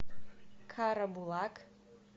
карабулак